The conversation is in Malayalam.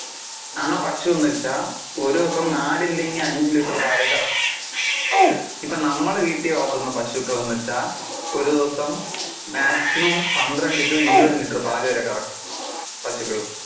ആ പശുന്നു വെച്ചാൽ ഒരു ദിവസം നാല് അല്ലെങ്കിൽ അഞ്ചു ലിറ്റർ പാലെ കറക്കു, ഇപ്പൊ നമ്മള് വീട്ടിൽ വളർത്തുന്ന പശുക്കൾ എന്ന് വെച്ചാൽ ഒരു ദിവസം maximum പന്ത്രണ്ടു to ഇരുപതു ലിറ്റർ പാലു വരെ കറക്കും പശുക്കള്.